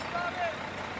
Qaçsın, abi, qaçsın.